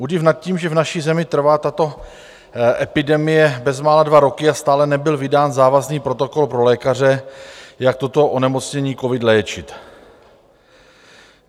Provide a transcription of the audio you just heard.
Údiv nad tím, že v naší zemi trvá tato epidemie bezmála dva roky a stále nebyl vydán závazný protokol pro lékaře, jak toto onemocnění covid léčit.